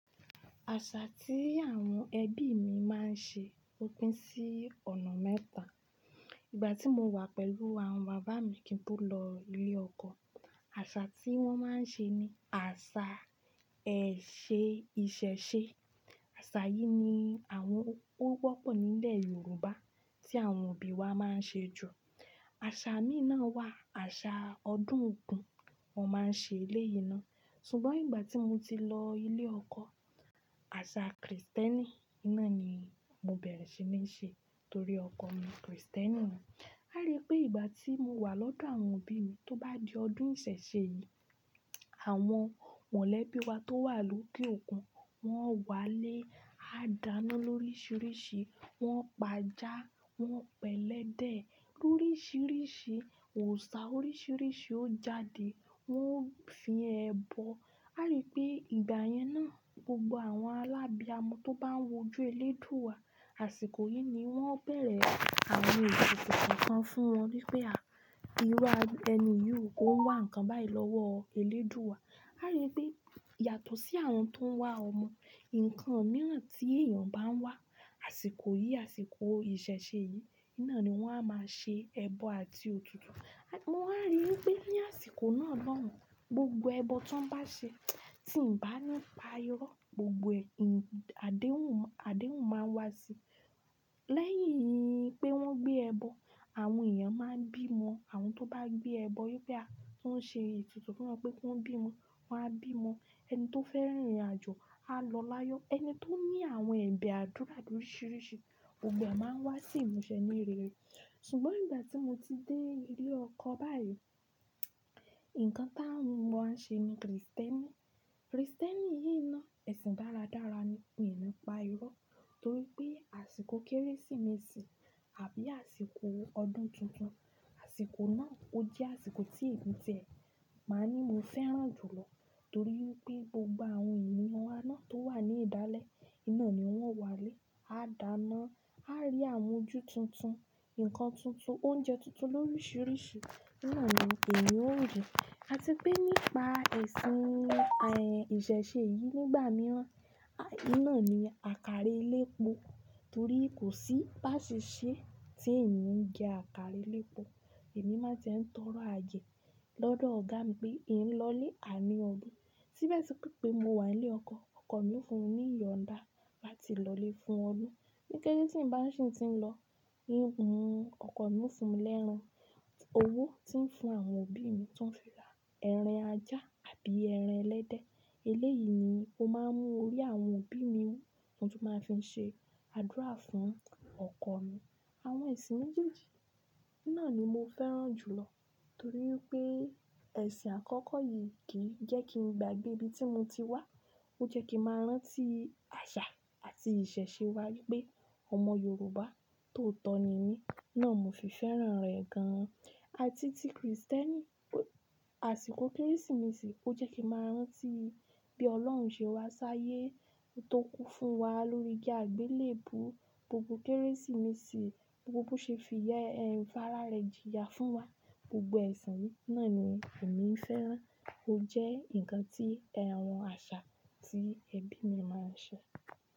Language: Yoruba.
Àṣà tí àwọn ẹbí mi máa ń ṣe ó pín sí ọ̀nà mẹ́ta. Ìgbà tí mo wà pẹ̀lú àwọn bàbá mi kí n tó lọ ilé ọkọ, àṣà tí wọ́n máa ń ṣe ni àṣà ìṣẹ̀ṣe. Àṣà yìí ni àwọn ó wọ́pọ̀ nílẹ̀ Yorùbá tí àwọn òbí wa máa ń ṣe jù. Àṣà míì náà wà àṣà ọdún ogún, wọn máa ń ṣe eléyì nà. Ṣùgbọ́n ìgbà tí mo ti lọ ilé ọkọ, àṣà Kristẹni náà ni mo bẹ̀rẹ̀ sí ní ṣe torí ọkọ mi Kristẹni ni. A rí pé ìgbà tí mo wà lọ́dọ̀ àwọn òbí mi tó bá di ọdún ìṣẹ̀ṣe yìí, àwọn mọ̀lẹ́bí wa tó wà lókè òkun, wọ́n wálé, á dáná lóríṣiríṣi, wọ́n pa ajá, wọ́n pẹ̀lẹ́dẹ̀ lóríṣiríṣi, òòṣà oríṣiríṣi ó jáde, wọ́n fi ẹbọ. A rí pé ìgbà yẹn náà gbogbo àwọn alábiamọ tó bá ń wojú eléèdúà, àsìkò yìí ni wọ́n bẹ̀rẹ̀ àwọn ètùtù kankan fún wọn, wípé à íru ẹni yió on wá ǹkan báyìí lọ́wọ́ eléèdúà. A rí pé yàtọ̀ sí àwọn tó ń wá ọmọ, ǹkan mìíràn tí èèyàn bá ń wá àsìkò yìí, àsìkò ìṣẹ̀ṣe yìí náà ni wọ́n a máa ṣe ẹbọ àti òkú. Mo wá rí pé ní àsìkò náà lóhùn, gbogbo ẹbọ ti won bá ṣe tí ǹ bá nípa irọ́, gbogbo ẹ̀ àdéhùn, àdéhùn máa wá síi. Lẹ́yìn pé wọ́n gbé ẹbọ, àwọn èèyàn máa ń bímọ. Àwọn tó bá gbé ẹbọ wípé a tó ń ṣe ètùtù fún wọn pé kí wọ́n bímọ, wọn á bímọ. Ẹni tó fẹ́ rìnrìnàjò á lọ láyọ̀. Ẹni tó ní àwọn ẹ̀bẹ̀ àdúrà loríṣiríṣi gbogbo ẹ máa wá sí ìmúṣẹ ní rere. Ṣùgbọ́n ìgbà tí mo ti dé ilé ọkọ báyìí, ǹkan táwọn ṣe ni Kristẹni. Kristẹni yìí náà ẹ̀sìn dáradára ni, mi ni pa irọ́ torí pé àsìkò Kérésìmesì àbí àsìkò ọdún tuntun, àsìkò náà ó jẹ́ àsìkò tí emi tiẹ̀ máa ń ní mo fẹ́ràn jùlọ torí wipé gbogbo àwọn ènìyàn wá naà tó wà ní ìdálẹ̀ in na ni wọ́n wá lé, á dáná, á rí àwón ojú tuntun, ǹkan tuntun, oúnjẹ tuntun lóríṣiríṣi náà ni teníyan ó jẹ. Àti pé nípa ẹ̀sìn ìṣẹ̀ṣe yìí nígbà mìíràn, iná ni akára elépo torí kò sí bá ṣe ṣẹ́ tí ń ni jẹ àkàrà elépo, èmi má tie ń tọrọ àayẹ́ lọ́dọ̀ ọ̀gá mi pé íń lọlé, àní ọdún. Síbẹ̀ síbe pé mo wà nílé ọkọ, ọkọ mi fún mi ní iyọ̀nda láti lọlé fún ọdún. Ni Kéte tiń ba si ti n lọ, in mú ọkọ mi o fún mi lẹ́ran. Owó tí ń fún àwọn òbí mi tó ń fi ra ẹran ajá àbí ẹran ẹlẹ́dẹ̀. Eléyìí ni ó máa ń mú orí àwọn òbí mi wú, tí wọ́n tó máa fi ṣe àdúrà fún ọkọ mi. Àwọn ẹ̀sìn méjèèjì náà ni mo fẹ́ràn jùlọ torí pé ẹ̀sìn àkọ́kọ́ yìí kì í jẹ́ kí n gbàgbé ibi tí mo ti wá, ó jẹ́ kí màá rántí àṣà àti ìṣẹ̀ṣe wa wípé ọmọ Yorùbá tóotọ̀ ni mí, náà ni mo fì fẹ́ràn rẹ̀ gan-an. Àti tí Kristẹni, àsìkò Kérésìmesì ó jẹ́ kí màá rántí bí Ọlọ́run ṣe wá ṣáyé, tó kú fún wa lórí igi àgbélèbú. Gbogbo Kérésìmesì, gbogbo bó ṣe fi fárá rẹ̀ jìyà fún wa. Gbogbo ẹ̀sìn yi náà ni èmi ń fẹ́ràn, ó jẹ́ ǹkan tí àwọn àṣà tí ẹbí mi máa ń ṣe.